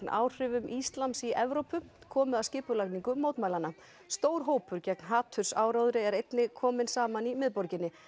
áhrifum íslams í Evrópu komu að skipulagningu mótmælanna stór hópur gegn hatursáróðri er einnig kominn saman í miðborginni